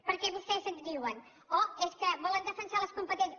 perquè vostès ens diuen oh és que volen defensar les competències